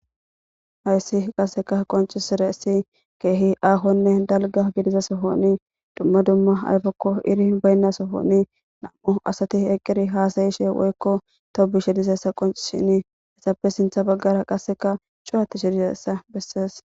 hayssi qasseka qoncisire si keehi ahonne dalga gidiza sofoni dumma dumma ayfakko iri baynna sofoni nam7u asati eqqiri haasayi she woykko tou bu she disessa qoncishini hesafe sintha baggara qasseka shuwati shedisessa bessees